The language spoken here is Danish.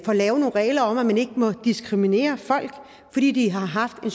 får lavet nogle regler om at man ikke må diskriminere folk fordi de har haft en